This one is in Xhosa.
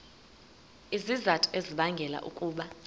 izizathu ezibangela ukuba